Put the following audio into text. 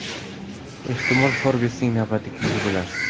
Ehtimol Forbes’ning navbatdagi yuzi bo‘larsiz.